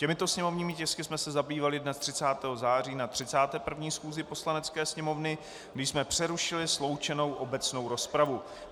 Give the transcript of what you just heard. Těmito sněmovními tisky jsme se zabývali dne 30. září na 31. schůzi Poslanecké sněmovny, kdy jsme přerušili sloučenou obecnou rozpravu.